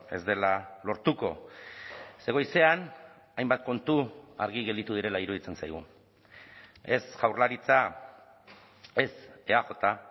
ez dela lortuko ze goizean hainbat kontu argi gelditu direla iruditzen zaigu ez jaurlaritza ez eaj